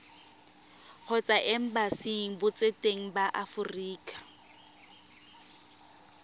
kgotsa embasing botseteng ba aforika